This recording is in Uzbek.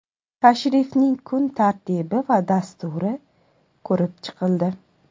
Tashrifning kun tartibi va dasturi ko‘rib chiqildi.